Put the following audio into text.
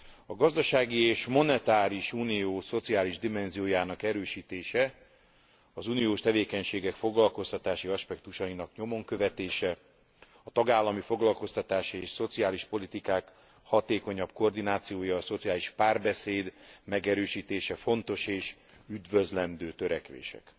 A gazdasági és monetáris unió szociális dimenziójának erősítése az uniós tevékenységek foglalkoztatási aspektusainak nyomon követése, a tagállami foglalkoztatási és szociális politikák hatékonyabb koordinációja, a szociális párbeszéd megerősítése fontos és üdvözlendő törekvések.